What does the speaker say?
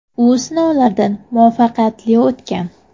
U sinovlardan muvaffaqiyatli o‘tgan.